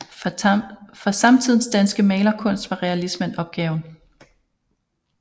For samtidens danske malerkunst var realismen opgaven